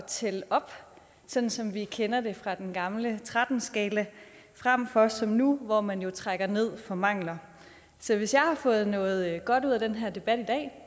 tælle op sådan som vi kender det fra den gamle tretten skala frem for som nu hvor man jo trækker ned for mangler så hvis jeg har fået noget godt ud af den her debat i dag